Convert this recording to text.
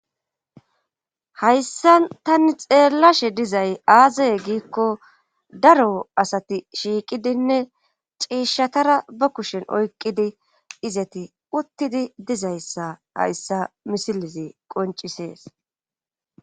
hayssa tani xeellashe dizay aazaye giikko daro asati shiiqidinne ciishshatara ba kushen oykqidi izati uttidi dizayssa hayssa misilizi qoncisees